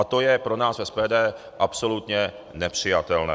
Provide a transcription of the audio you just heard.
A to je pro nás v SPD absolutně nepřijatelné.